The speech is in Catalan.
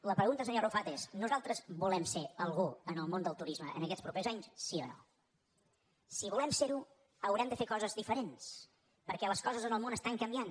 la pregunta senyor arrufat és nosaltres volem ser al·gú en el món del turisme aquests propers anys sí o no si volem ser·ho haurem de fer coses diferents perquè les coses en el món estan canviant